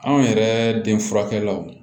Anw yɛrɛ den furakɛlaw